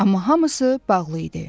Amma hamısı bağlı idi.